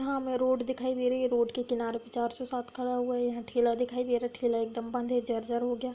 हमें रोड दिखाई दे रही है। रोड के किनारे पचासो चारसो सात खड़ा हुआ है। यहाँ ठेला दिखाई दे रहा है ठेला एक दम बंद है। जर-जर हो गया।